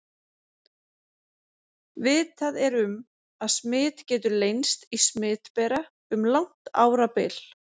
Vitað er um, að smit getur leynst í smitbera um langt árabil.